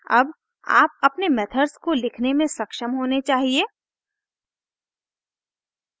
अब आप अपने मेथड्स को लिखने में सक्षम होने चाहिए